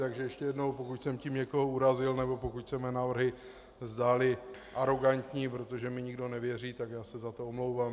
Takže ještě jednou, pokud jsem tím někoho urazil nebo pokud se mé návrhy zdály arogantní, protože mi nikdo nevěří, tak já se za to omlouvám.